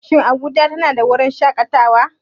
Shin Abuja tana da wurin shakatawa?